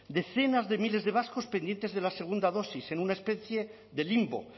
decenas de miles de vascos pendientes de la segunda dosis en una especie de limbo